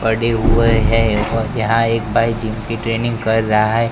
पड़े हुए हैं और यहाँ एक भाई जिम की ट्रेनिंग कर रहा--